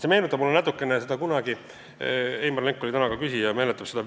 See meenutab mulle natukene seda kunagist loosungit "Vee hind kontrolli alla!